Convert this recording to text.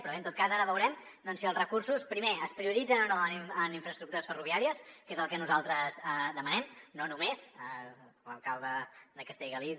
però bé en tot cas ara veurem si els recursos primer es prioritzen o no en infraestructures ferroviàries que és el que nosaltres demanem no només l’alcalde de castellgalí